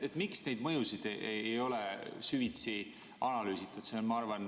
Miks neid mõjusid ei ole süvitsi analüüsitud?